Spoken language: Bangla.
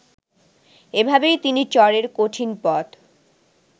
এভাবেই তিনি চরের কঠিন পথ